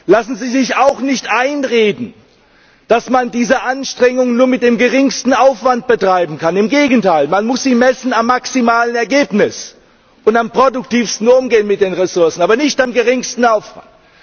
Lassen Sie sich auch nicht einreden, dass man diese Anstrengungen nur mit dem geringsten Aufwand betreiben kann. Im Gegenteil Man muss sie messen am maximalen Ergebnis und am produktivsten Umgehen mit den Ressourcen, aber nicht am geringsten Aufwand.